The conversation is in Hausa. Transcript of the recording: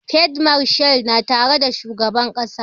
Field marshal na tare da shugaban ƙasa